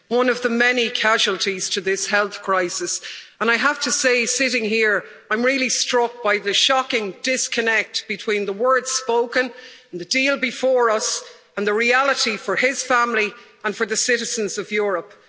He is one of the many casualties to this health crisis and I have to say, sitting here, I'm really struck by the shocking disconnect between the words spoken, the deal before us and the reality for his family and for the citizens of Europe.